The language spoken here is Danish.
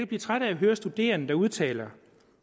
blive træt at høre studerende der udtaler